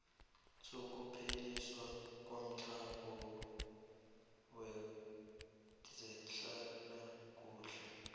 sokupheliswa komtlhago kwezehlalakuhle